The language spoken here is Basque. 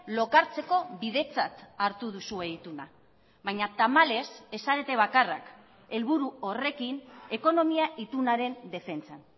lokartzeko bidetzat hartu duzue ituna baina tamalez ez zarete bakarrak helburu horrekin ekonomia itunaren defentsan